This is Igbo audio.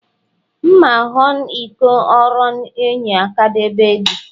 Mma n̄n̄wọn̄ ikọn̄ oro enye akadade edi